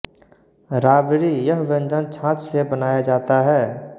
राबडी यह व्यंजन छाछ से बनाया जाता है